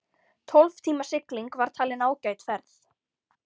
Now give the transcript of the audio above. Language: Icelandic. Tólf tíma sigling var talin ágæt ferð.